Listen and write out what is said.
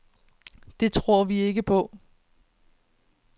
Det tror vi ikke på.